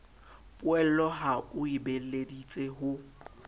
poello ha o beeleditse ho